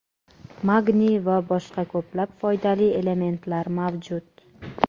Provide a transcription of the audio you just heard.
magniy va boshqa ko‘plab foydali elementlar mavjud.